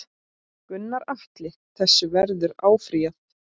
Gunnar Atli: Þessu verður áfrýjað?